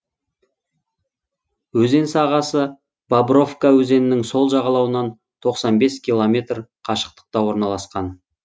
өзен сағасы бобровка өзенінің сол жағалауынан тоқсан бес километр қашықтықта орналасқан